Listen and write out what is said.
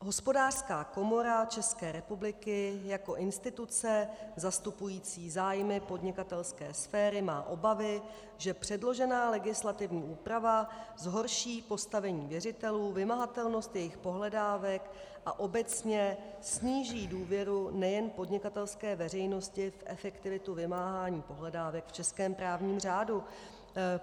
Hospodářská komora České republiky jako instituce zastupující zájmy podnikatelské sféry má obavy, že předložená legislativní úprava zhorší postavení věřitelů, vymahatelnost jejich pohledávek a obecně sníží důvěru nejen podnikatelské veřejnosti v efektivitu vymáhání pohledávek v českém právním řádu.